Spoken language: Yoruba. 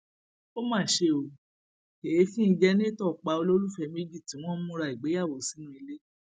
ó mà ṣe o èéfín jẹnàtò pa olólùfẹ méjì tí wọn ń múra ìgbéyàwó sínú ilé